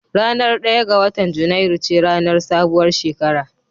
Ranar ɗaya ga watan junairu ce ranar sabuwar shekara